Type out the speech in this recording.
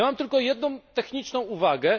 Mam tylko jedną techniczną uwagę.